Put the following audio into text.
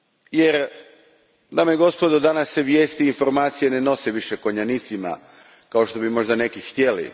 Jer, dame i gospodo, danas se vijesti i informacije više ne prenose konjanicima kao što bi možda neki htjeli.